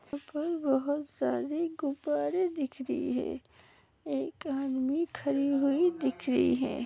बहुत सारे गुब्बारे दिख रहे हैं एक आदमी खड़ी हुई दिख रही है।